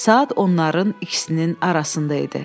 Saat onların ikisinin arasında idi.